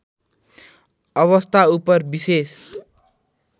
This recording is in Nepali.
अवस्थाउपर विशेष